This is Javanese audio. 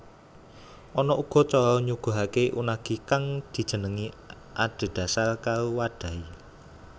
Ana uga cara nyuguhake unagi kang dijenengi adhedhasar karo wadhahe